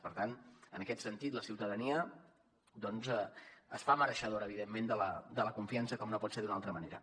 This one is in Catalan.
per tant en aquest sentit la ciutadania es fa mereixedora evidentment de la confiança com no pot ser d’una altra manera